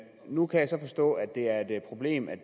nu kan jeg så forstå at det er et problem